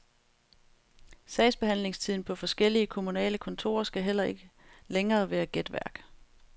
Sagsbehandlingstiden på forskellige kommunale kontorer skal heller ikke længere være gætværk.